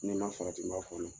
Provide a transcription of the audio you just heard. Ni n ma farati n b'a fɔ